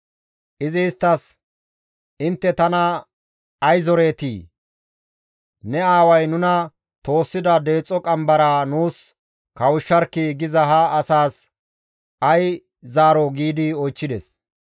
Izi isttas, «Intte tana ay zoreetii? ‹Ne aaway nuna toossida deexo qambaraa nuus kawushsharkkii!› giza ha asaas ay zaaroo?» giidi oychchides.